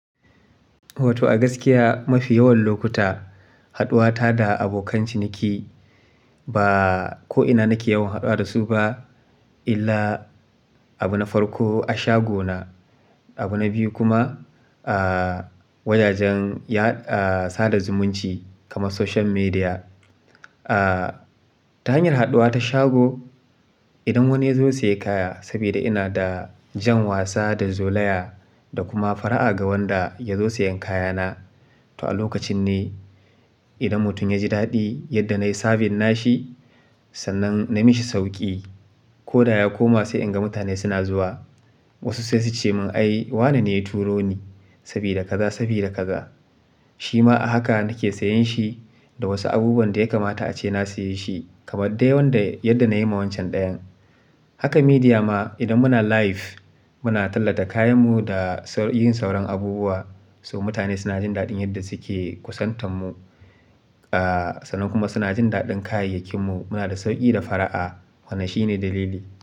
To, a gaskiya mafi yawan lokuta, haɗuwa ta da abokan ciniki ba ko'ina nake yawan haɗuwa da su ba illa abu na farko a shago na. Abu na biyu kuma, aa, wajajen ya da, sada zumunci kamar social media. Aa, ta hanyar haɗuwa ta shago, idan wani ya zo saye kaya, saboda ina da jan wasa da zolaya da kuma fara'a ga wanda ya zo sayan kayana. To a lokacin ne idan mutum ya ji daɗi yadda na yi sabin nashi, sannan na mishi sauƙi. Koda ya koma sai inga mutane suna zuwa. Wasu sai sucemin ai wanene ya turoni to a lokacin ne idan mutum ya ji daɗi yadda na yi savin nashi, sannan na mishi sauƙi. Shima a haka nake sayanshi da wasu abubuwanda yakamata ace na sayeshi. Kamar dai wanda yadda nayima wanshan dayan. Haka media ma idan muna live, muna tallata kayanmu da saukin yin sauran abubuwa, so mutane suna jin daɗin yadda suke kusantar mu. Aa, sannan kuma suna jin daɗin kayayyakinmu. Muna da sauƙi da fara'a. Wannan shine dalili.